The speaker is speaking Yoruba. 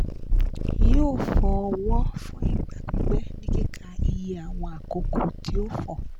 yóò fọ ọwọ́ fún ìgbà pípẹ́ ní kíkà iye àwọn àkókò tí ó fọ̀